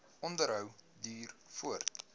onderhou duur voort